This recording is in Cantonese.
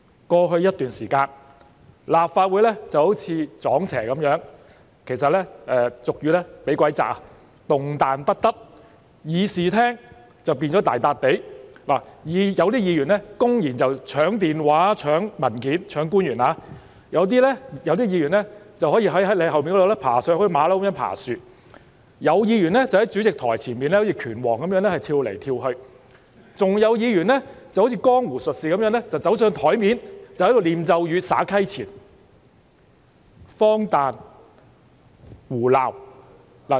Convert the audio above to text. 過去一段時間，立法會好像"撞邪"般，俗語說是"被鬼壓"，動彈不得，而議事廳變成大笪地，有議員公然搶官員的電話、搶文件，有議員則在你後面爬上去，好像猴子般爬樹，有議員則在主席台前好像拳王般跳來跳去，還有議員好像江湖術士走到桌上唸咒語、撒溪錢；簡直是荒誕、胡鬧。